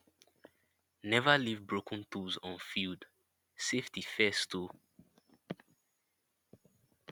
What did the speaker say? never leave broken tools on field safety first oh